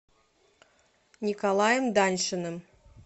николаем даньшиным